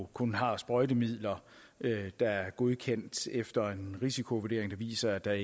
kun har sprøjtemidler der er godkendt efter en risikovurdering der viser at der